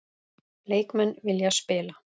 Leikmenn vilja spila